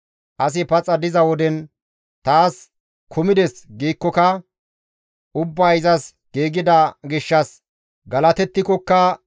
Asi paxa diza woden, «Taas kumides» giikkoka, ubbay izas giigida gishshas galatettikokka,